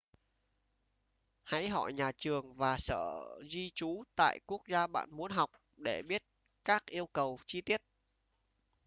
hãy hỏi nhà trường và sở di trú tại quốc gia bạn muốn học để biết các yêu cầu chi tiết